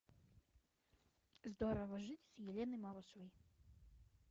здорово жить с еленой малышевой